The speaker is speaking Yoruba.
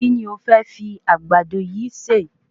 Kí ni o fẹ́ fi Àgbàdo yìí se?